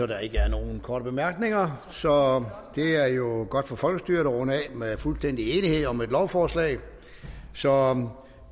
der ikke er nogen korte bemærkninger så er det er jo godt for folkestyret at runde af med fuldstændig enighed om et lovforslag så